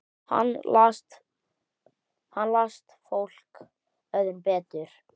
Hann las fólk öðrum betur.